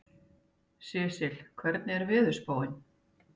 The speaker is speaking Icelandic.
Sesil, hvernig er veðurspáin?